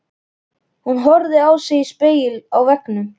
Hún horfði á sig í spegli á veggnum.